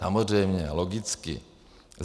Samozřejmě, logicky.